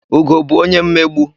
Ugo bụ onye mmegbu.